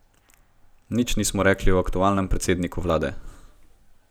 Nič nismo rekli o aktualnem predsedniku vlade.